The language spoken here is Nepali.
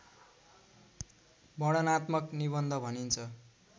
वर्णनात्मक निबन्ध भनिन्छ